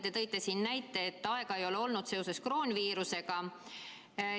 Te ütlesite, et ei ole olnud aega seoses kroonviirusega.